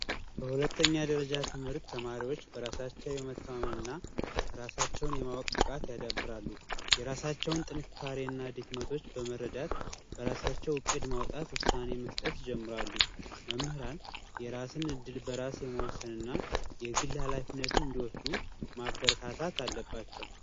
የሁለተኛ ደረጃ ትምህርት ተማሪዎች በራሳቸው የመተማመን እና ራሳቸውን የማወቅ ብቃት ያዳብራሉ። የራሳቸውን ድክመት እና ጥንካሬ በመረዳት በራሳቸው እቅድ ማውጣት ውሳኔ መወሰን ይጀምራሉ። መምህራን የራስን እድል በራስ የመወሰን እና የግል ሀላፊነትን እንዲወስዱ ማበረታታት አለባቸው።